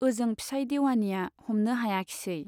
ओजों फिसाइ देवानीया हमनो हायाखिसै।